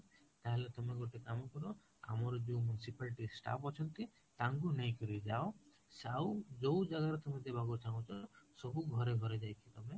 ତାହାଲେ ତମେ ଗୋଟେ କାମ କର ଆମର ଯୋଉ municipality staff ଅଛନ୍ତି ତାଙ୍କୁ ନେଇକିରି ଯାଉ ଆଉ ଯୋଉ ଜାଗାରେ ତମେ ଦେବାକୁ ଚାହୁଁଛ ସବୁ ଘରେ ଘରେ ଯାଇକି ତମେ